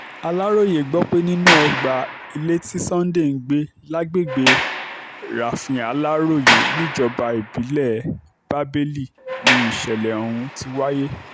aláròye gbọ́ pé nínú ọgbà ilé tí sunday ń gbé lágbègbè rafin-aláròyé níjọba ìbílẹ̀ bábélì ni ìṣẹ̀lẹ̀ ọ̀hún ti wáyé